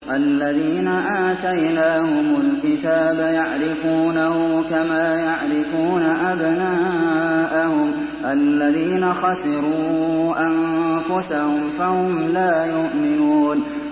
الَّذِينَ آتَيْنَاهُمُ الْكِتَابَ يَعْرِفُونَهُ كَمَا يَعْرِفُونَ أَبْنَاءَهُمُ ۘ الَّذِينَ خَسِرُوا أَنفُسَهُمْ فَهُمْ لَا يُؤْمِنُونَ